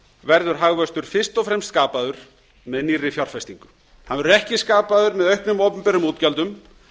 verður hagvöxtur fyrst og fremst skapaður með nýrri fjárfestingu hann verður ekki skapaður með auknum opinberum útgjöldum